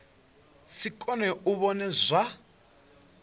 si kone u vhona zwa